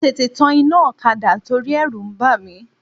Mo tètè tan iná ọ̀kadà torí ẹ̀rù ń bà mí.